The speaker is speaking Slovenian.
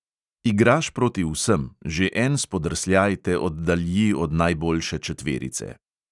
Igraš proti vsem, že en spodrsljaj te oddalji od najboljše četverice.